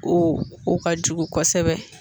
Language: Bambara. O o ka jugu kosɛbɛ